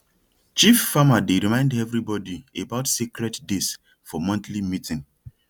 chief farmer dey remind everybody about sacred days for monthly meeting